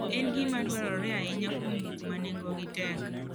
En gima dwarore ahinya kuom gik ma nengogi tek.